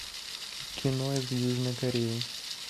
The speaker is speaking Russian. кино из южной кореи